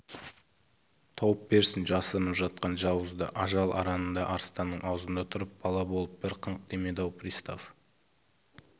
тауып берсін жасырынып жатқан жауызды ажал аранында арыстанның аузында тұрып бала болып бір қыңқ демеді-ау пристав